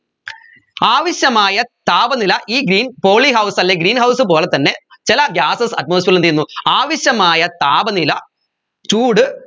ആവശ്യമായ താപനില ഈ green polyhouse അല്ലെ greenhouse പോലെ തന്നെ ചില gases atmosphere ൽ എന്ത് ചെയ്യുന്നു ആവശ്യമായ താപനില ചൂട്